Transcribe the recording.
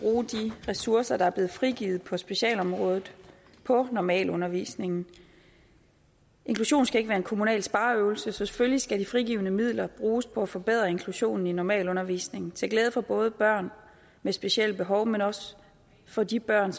ressourcer der er blevet frigivet på specialområdet på normalundervisningen inklusion skal ikke være en kommunal spareøvelse så selvfølgelig skal de frigivne midler bruges på at forbedre inklusionen i normalundervisningen til glæde for både børn med specielle behov men også for de børn